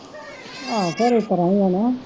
ਆਹੋ ਫੇਰ ਉਸ ਤਰ੍ਹਾਂ ਹੀ ਹੈ ਨਾ,